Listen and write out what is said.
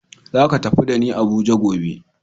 Zaka tafi da ni Abuja gobe.